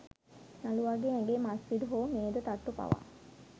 නළුවාගේ ඇඟේ මස් පිඩු හෝ මේද තට්ටු පවා